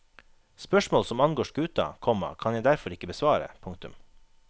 Spørsmål som angår skuta, komma kan jeg derfor ikke besvare. punktum